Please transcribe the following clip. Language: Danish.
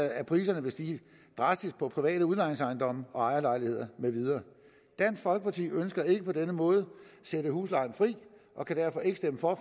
at priserne vil stige drastisk på private udlejningsejendomme ejerlejligheder med videre dansk folkeparti ønsker ikke på denne måde at sætte huslejen fri og kan derfor ikke stemme for